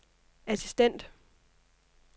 assistent